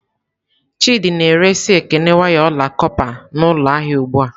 Chidị na-ere si Ekene waya ọla kọpa n'ụlọ ahịa ugbu a.